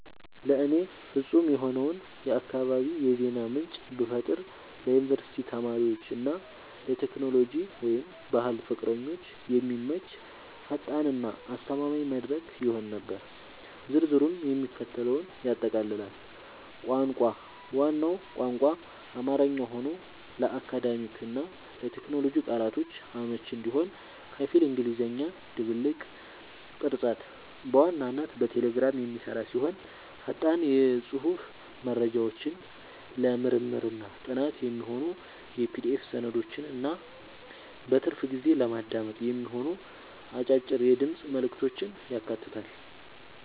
ለእኔ ፍጹም የሆነውን የአካባቢ የዜና ምንጭ ብፈጥር ለዩኒቨርሲቲ ተማሪዎች እና ለቴክኖሎጂ/ባህል ፍቅረኞች የሚመች፣ ፈጣን እና አስተማማኝ መድረክ ይሆን ነበር። ዝርዝሩም የሚከተለውን ያጠቃልላል - ቋንቋ፦ ዋናው ቋንቋ አማርኛ ሆኖ፣ ለአካዳሚክ እና ለቴክኖሎጂ ቃላቶች አመቺ እንዲሆን ከፊል እንግሊዝኛ ድብልቅ። ቅርጸት፦ በዋናነት በቴሌግራም የሚሰራ ሲሆን፣ ፈጣን የጽሑፍ መረጃዎችን፣ ለምርምርና ጥናት የሚሆኑ የPDF ሰነዶችን እና በትርፍ ጊዜ ለማዳመጥ የሚሆኑ አጫጭር የድምፅ መልዕክቶችን ያካትታል።